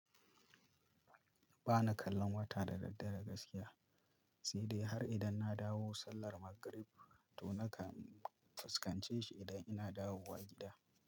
Ba na kallon wata da daddare gaskiya, sai dai har idan na dawo sallar magrib to nakan fuskance shi idan ina dawowa gida.